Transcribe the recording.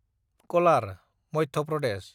colour (Madhya Pradesh)